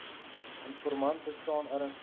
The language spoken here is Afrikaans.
informant bestaan ernstige